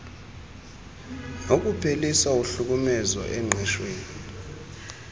nokuphelisa uhlukumezo engqeshwen